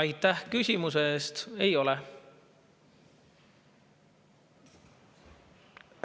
Aitäh küsimuse eest!